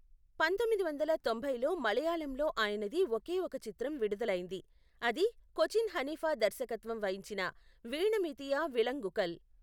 పంతొమ్మిది వందల తొంభైలో మలయాళంలో ఆయనది ఒకే ఒక చిత్రం విడుదలైంది, అది కొచిన్ హనీఫా దర్శకత్వం వహించిన వీణ మీతీయ విలంగుకల్.